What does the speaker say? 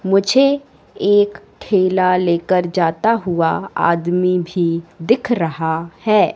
मुझे एक ठेला ले कर जाता हुआ आदमी भी दिख रहा है।